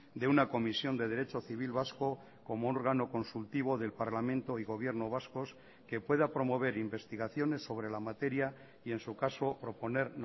de una comisión de derecho civil vasco como órgano consultivo del parlamento y gobierno vascos que pueda promover investigaciones sobre la materia y en su caso proponer